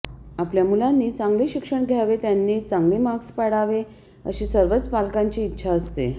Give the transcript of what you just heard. आपल्या मुलांनी चांगले शिक्षण घ्यावे त्यांनी चांगले मार्क्स पाडावे अशी सर्वच पालकांची इच्छा असते